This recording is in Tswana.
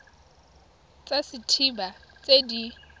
tsa set haba tse di